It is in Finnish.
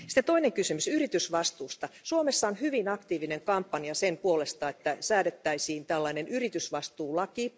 Toinen kysymys yritysvastuusta, Suomessa on hyvin aktiivinen kampanja sen puolesta, että säädettäisiin tällainen yritysvastuulaki.